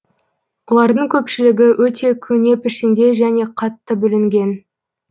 олардың көпшілігі өте көне пішінде және қатты бүлінген